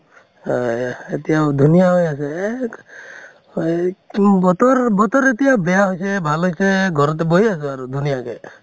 হয় এতিয়াও ধুনীয়া হৈ আছে এক হয় তু বতৰ এতিয়া বেয়া হৈছে ভাল হৈছে ঘৰতে বহি আছো আৰু ধুনীয়াকে